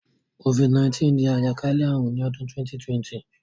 COVID-19 dí àjàkálẹ̀ àrùn ni odún 2020